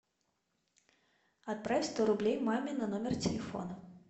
отправь сто рублей маме на номер телефона